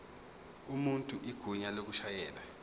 umuntu igunya lokushayela